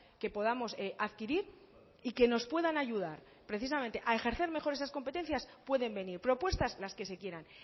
que podamos adquirir y que nos puedan ayudar precisamente a ejercer mejor esas competencias pueden venir propuestas las que se quieran